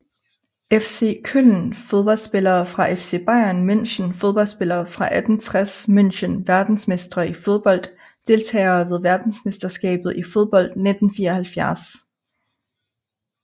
FC Köln Fodboldspillere fra FC Bayern München Fodboldspillere fra 1860 München Verdensmestre i fodbold Deltagere ved verdensmesterskabet i fodbold 1974